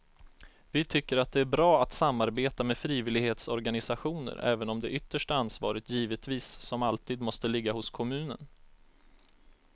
Vi tycker att det är bra att samarbeta med frivillighetsorganisationer även om det yttersta ansvaret givetvis som alltid måste ligga hos kommunen.